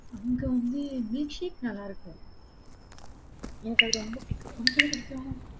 அங்க வந்து milkshake நல்லா இருக்கும். எனக்கு அது ரொம்ப பிடிக்கும். உனக்கு எது பிடிக்கும்?